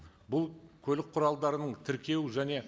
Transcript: бұл көлік құралдарын тіркеу және